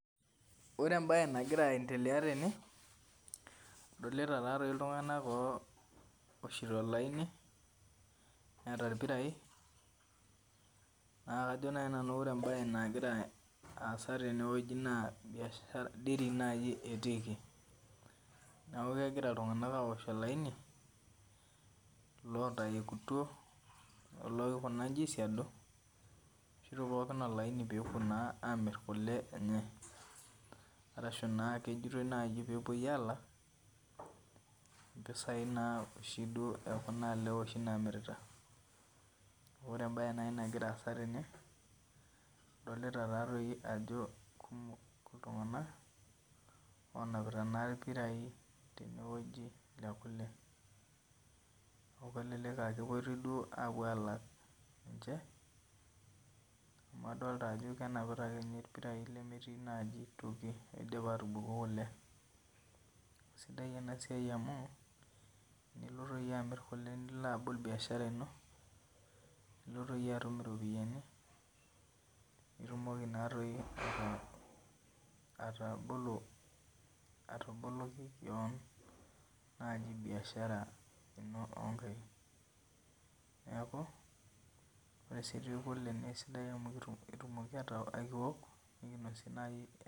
Oree embae nagira aendelea tene adolita taadoi iltung'anak ooshito olaini eeta ilpirai naa ajo nai nanu oree embae nagira aasa tene naa Dairy naaiji etikii neaku ewoshito iltung'anak olaini lootaekutwo woo loikuna inji aisiadu ewoshito pooki olaini pewuo amir kule enye arashuu naa keijoito duo pewuo alak impesai ekule oshi naamirita oree embae nagiraa aasa tene adolita taadoi ajo kumok iltung'anak loonapita ilpirai lekule amuu kelelek ajoo kewuo alak sidai enasiai amuu iloito iyie abol biashara inoo nilo atum iropiani nitumoki ataboloki kaan biashara oonkai, sidai kule oleng.